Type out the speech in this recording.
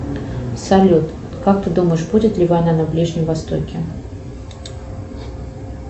салют как ты думаешь будет ли война на ближнем востоке